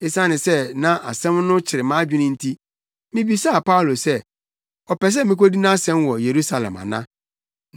Esiane sɛ na asɛm no kyere mʼadwene nti, mibisaa Paulo sɛ ɔpɛ sɛ mikodi nʼasɛm wɔ Yerusalem ana?